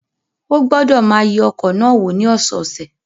Ó gbọ́dọ̀ máa yẹ ọkọ̀ náà wò ní ọ̀sọ̀ọ̀sẹ̀.